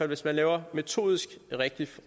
hvis man laver en metodisk rigtig